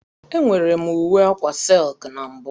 Enwere m uwe akwa silki na mbụ.